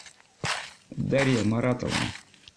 дарья маратовна